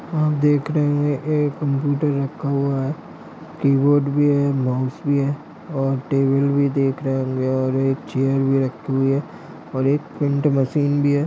आप देख रहे हैं एक कंप्युटर रखा हुआ है कीबोर्ड भी है माउस भी है और टेबल भी देख रहे होंगे और एक चेयर भी रखी हुई है और एक प्रिन्ट मशीन भी है।